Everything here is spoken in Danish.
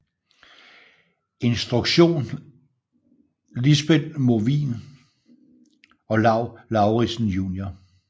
Instruktion Lisbeth Movin og Lau Lauritzen jun